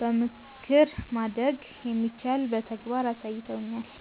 በምክር ማደግ እንደሚቻል በተግባር አሳይተውኛል።